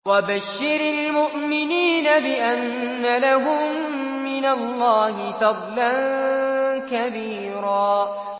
وَبَشِّرِ الْمُؤْمِنِينَ بِأَنَّ لَهُم مِّنَ اللَّهِ فَضْلًا كَبِيرًا